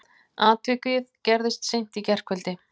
Atvikið gerðist í seint í gærkvöldi